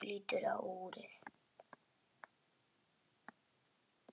Hún lítur á úrið.